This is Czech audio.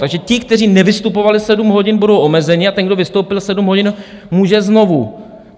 Takže ti, kteří nevystupovali sedm hodin, budou omezeni, a ten, kdo vystoupil sedm hodin, může znovu.